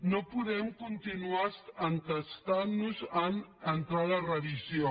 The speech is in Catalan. no podem continuar entestant nos a entrar a la revisió